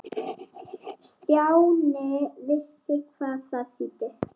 Stjáni vissi hvað það þýddi.